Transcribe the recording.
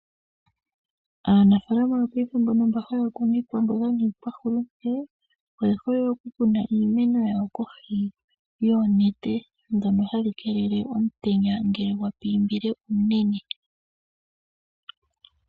Aanafaalama yopaife mbono mba haya kunu iikwamboga niikwahulute oye hole oku kuna iimeno yawo kohi yoonete dhono hadhi keelele omutenya ngele gwa pimbile unene.